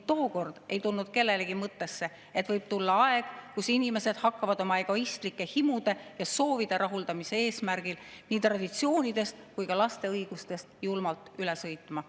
Tookord ei tulnud kellelegi mõttesse, et võib tulla aeg, kui inimesed hakkavad oma egoistlike himude ja soovide rahuldamise eesmärgil nii traditsioonidest kui ka laste õigustest julmalt üle sõitma.